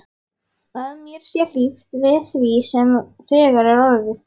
Að mér sé hlíft við því sem þegar er orðið.